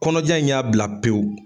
Kɔnɔja in y'a bila pewu.